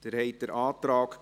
Abstimmung (Art. 37 Abs. 3;